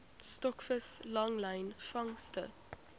stokvis langlyn vangste